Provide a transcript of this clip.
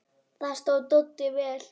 Þar stóð Doddi vel.